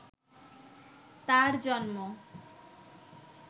তার জন্ম